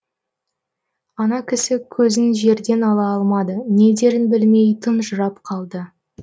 ана кісі көзін жерден ала алмады не дерін білмей тұнжырап қалды